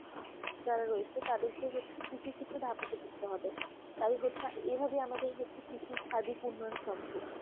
যারা রয়েছে তাদেরকে হচ্ছে কৃষি ক্ষেত্রে হবে এভাবে আমাদের হচ্ছে কৃষির সার্বিক উন্নয়ন সম্ভব